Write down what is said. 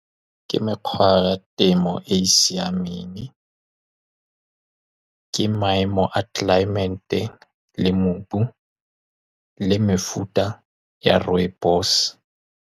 Ke mekgwa ya temo e e siameng, ke maemo a tlelaemete le mobu le mefuta ya rooibos-e.